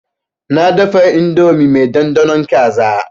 Na dafa indomi mai ɗanɗanon kaza.